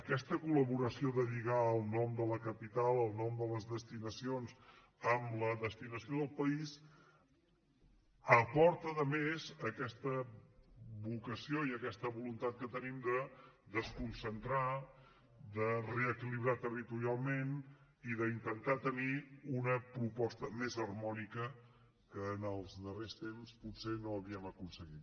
aquesta col·laboració de lligar el nom de la capital el nom de les destinacions a la destinació del país aporta de més aquesta vocació i aquesta voluntat que tenim de desconcentrar de reequilibrar territorialment i d’intentar tenir una proposta més harmònica que en els darrers temps potser no havíem aconseguit